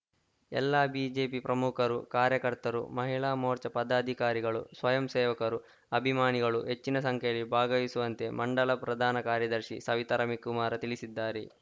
ಎಲ್ಲಾ ಬಿಜೆಪಿ ಪ್ರಮುಖರು ಕಾರ್ಯಕರ್ತರು ಮಹಿಳಾ ಮೋರ್ಚಾ ಪದಾಧಿಕಾರಿಗಳು ಸ್ವಯಂ ಸೇವಕರುಅಭಿಮಾನಗಳು ಹೆಚ್ಚಿನ ಸಂಖ್ಯೆಯಲ್ಲಿ ಭಾಗವಹಿಸುವಂತೆ ಮಂಡಲ ಪ್ರಧಾನ ಕಾರ್ಯದರ್ಶಿ ಸವಿತ ರವಿಕುಮಾರ ತಿಳಿಸಿದ್ದಾರೆ